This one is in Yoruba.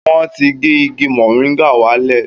Wọ́n ti gé igi mọ́rìngà wá lẹ̀